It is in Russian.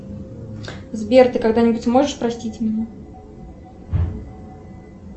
сбер ты когда нибудь можешь простить меня